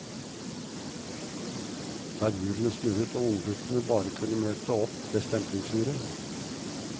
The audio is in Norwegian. Der hjulene snurret og ungguttene bare kunne møte opp ved stemplingsuret.